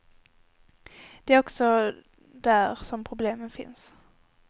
Det är också där som problemen finns.